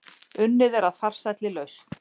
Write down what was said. Unnið að farsælli lausn